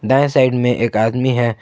दाएं साइड में एक आदमी है।